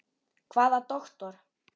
Hvaða doktor?